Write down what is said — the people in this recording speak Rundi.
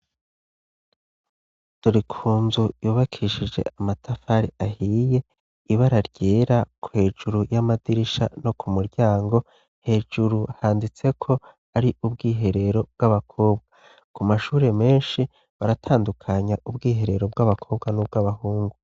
Dori ku nzu yubakishije amatafari ahiye ibara ryera kwejuru y'amadirisha no ku muryango hejuru handitseko ari ubwiherero bw'abakobwa ku mashure menshi baratandukanya ubwiherero bw'abakobwa n'ubwo abahungu.